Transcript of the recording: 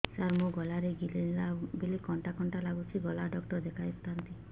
ସାର ମୋ ଗଳା ରେ ଗିଳିଲା ବେଲେ କଣ୍ଟା କଣ୍ଟା ଲାଗୁଛି ଗଳା ଡକ୍ଟର କୁ ଦେଖାଇ ଥାନ୍ତି